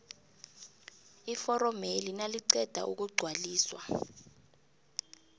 iforomeli naliqeda ukugcwaliswa